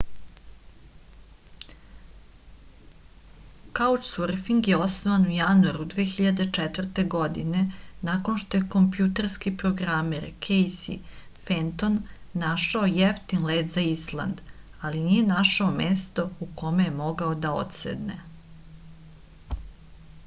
kaučsurfing je osnovan u januaru 2004. godine nakon što je kompjuterski programer kejsi fenton našao jeftin let za island ali nije našao mesto u kom je mogao da odsedne